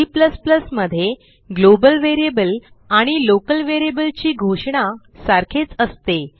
C मध्ये global variable आणि local variable ची घोषणा सारखीच असते